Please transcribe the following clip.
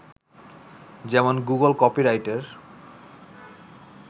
যেমন গুগল কপিরাইটের